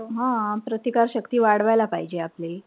हा प्रतिकार शक्ती वाढवायला पाहिजे आपली.